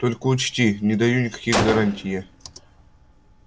только учти не даю никаких гарантий я